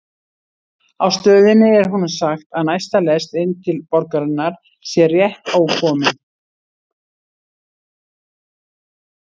Á stöðinni er honum sagt að næsta lest inn til borgarinnar sé rétt ókomin.